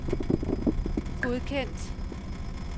godkendt